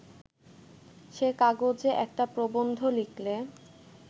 সে কাগজে একটা প্রবন্ধ লিখলে